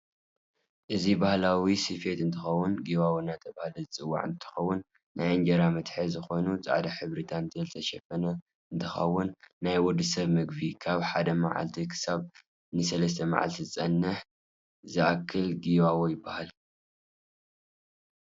ኦዚ ባህላዊ ስፊት እንትከውን ጊዋዎ እዳተባህለ ዝፀዋዕ እንትከውን ናይ አነገራ መትሐዚ ኾይኑ ፃዕዳ ሕብሪ ታንትየል ዝተሸፈነ እንትከውን ናይ ወድሰብ መግብ ካብ ሓደ መዓልቲ ከሳብ ንሰለስተ መዓልቲ ከፀንሕ ዝክእል ጊዋዎ ይባሃል።